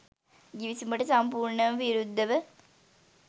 ගිවිසුමට සම්පූර්ණ විරුද්ධව